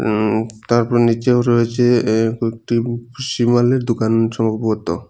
উম-তারপর নিচেও রয়েছে এ কয়েকটি ভুসিমালের দোকান সম্ভবত।